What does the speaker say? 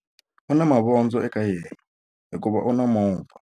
U na mavondzo eka yena hikuva u na movha.